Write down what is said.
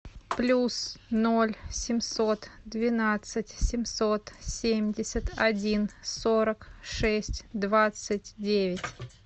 плюс ноль семьсот двенадцать семьсот семьдесят один сорок шесть двадцать девять